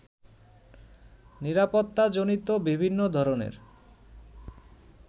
নিরাপত্তাজনিত বিভিন্ন ধরনের